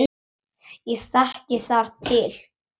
Ég þekki þar til.